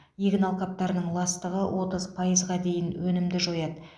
егін алқаптарының ластығы отыз пайызға дейін өнімді жояды